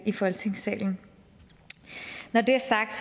i folketingssalen når det er sagt